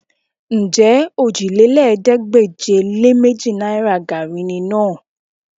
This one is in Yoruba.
Ǹjẹ́ òjìlélẹ́ẹ̀ẹ́dégbèje-lé-méjì náìrà gaàrí ni náà?